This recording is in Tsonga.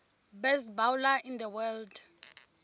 best bowler in the world